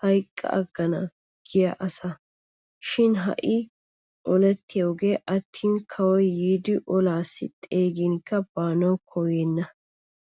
hayqqa aggana giya asa. Shin ha'iigee oleettiyoogee attin kawoy yiidi olaassi xeeginkka baanawu koyyenna.